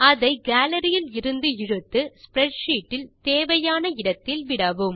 அதை கேலரி இலிருந்து இழுத்து ஸ்ப்ரெட்ஷீட் இல் தேவையான இடத்தில் விடவும்